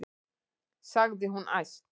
sagði hún æst.